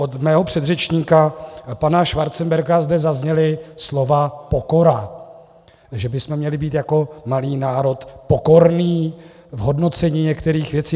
Od mého předřečníka pana Schwarzenberga zde zazněla slova pokora, že bychom měli být jako malý národ pokorní v hodnocení některých věcí.